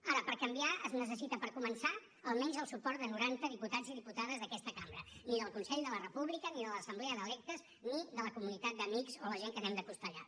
ara per canviar es necessita per començar almenys el suport de noranta diputats i diputades d’aquesta cambra ni del consell de la república ni de l’assemblea d’electes ni de la comunitat d’amics o la gent que anem de costellada